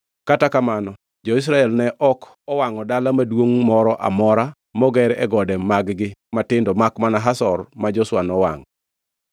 Kata kamano, jo-Israel ne ok owangʼo dala maduongʼ moro amora moger e gode mag-gi matindo makmana Hazor ma Joshua nowangʼo.